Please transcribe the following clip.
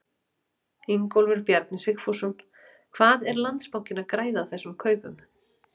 Ingólfur Bjarni Sigfússon: Hvað er Landsbankinn að græða á þessum kaupum?